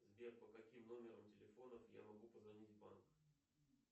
сбер по каким номерам телефонов я могу позвонить в банк